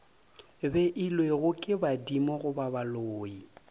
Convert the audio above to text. beilwego ke badimo goba baloi